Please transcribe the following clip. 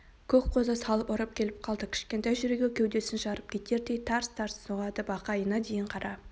көк қозы салып ұрып кеп қалды кішкентай жүрегі кеудесін жарып кетердей тарс-тарс соғады бақайына дейін қара